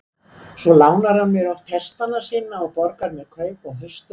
Svo lánar hann mér oft hestana sína og borgar mér kaup á haustin.